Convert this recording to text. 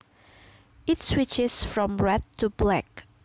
It switched from red to black